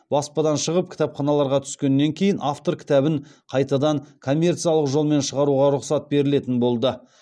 баспадан шығып кітапханаларға түскеннен кейін автор кітабын қайтадан коммерциялық жолмен шығаруға рұқсат берілетін болды